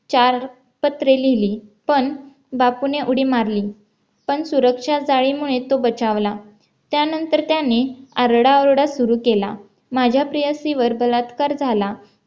चार पत्रे लिहिली पण बापू ने उडी मारली पण सुरक्षा जाळी मुळे तो बचावला त्यानंतर त्याने आरडाओरडा सुरू केला माझ्या प्रियसी वर बलात्कार झाला तिने